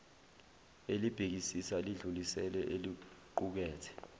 elibhekisisa lidlulisele eliqukethe